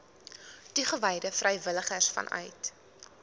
toegewyde vrywilligers vanuit